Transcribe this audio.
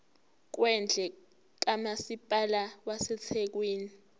kwendle kamasipala wasethekwini